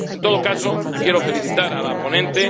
En todo caso, quiero felicitar a la ponente.